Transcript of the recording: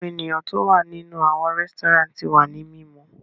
Awọn eniyan ti o wa ninu awọn resturant ti wa ni mimu